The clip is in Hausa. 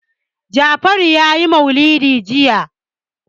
Jafaru ya yi maulidi jiya.